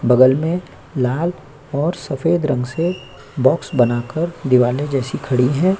बगल में लाल और सफेद रंग से बॉक्स बनाकर दिवाले जैसी खड़ी है।